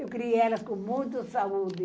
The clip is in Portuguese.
Eu criei elas com muita saúde.